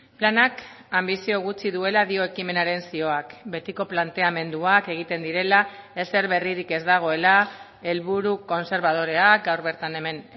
planak anbizio gutxi duela dio ekimenaren zioak betiko planteamenduak egiten direla ezer berririk ez dagoela helburu kontserbadoreak gaur bertan hemen